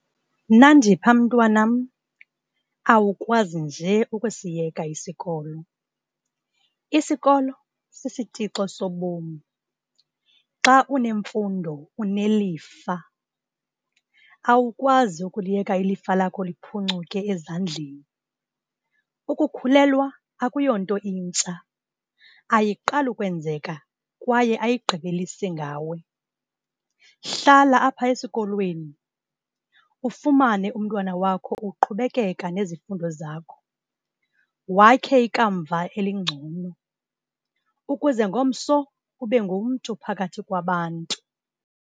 Nandipha mntwanam, awukwazi nje ukusiyeka isikolo, isikolo sisitixo sobom. Xa unemfundo unelifa. Awukwazi ukuliyeka ilifa lakho liphucuke ezandleni. Ukukhulelwa akuyonto intsha, ayiqali ukwenzeka kwaye ayigqibelisi ngawe. Hlala apha esikolweni ufumane umntwana wakho uqhubekeka nezifundo zakho, wakhe ikamva elingcono ukuze ngomso ube ngumntu phakathi kwabantu.